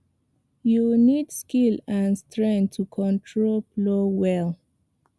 you need skill and strength to control plow well